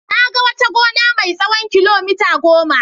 Na ga wata gona mai tsawon kilomita goma.